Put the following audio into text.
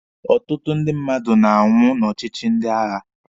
Ụtụtụ ndị mmadụ na-anwụ n'ọchịchị ndị agha.